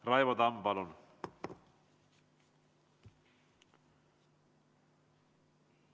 Raivo Tamm, palun!